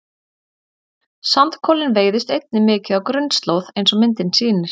Sandkolinn veiðist einnig mikið á grunnslóð eins og myndin sýnir.